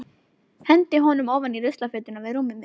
Hendi honum ofan í ruslafötuna við rúmið mitt.